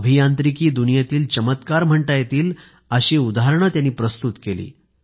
अभियांत्रिकी दुनियेतील चमत्कार म्हणता येतील अशी उदाहरणे त्यांनी प्रस्तुत केली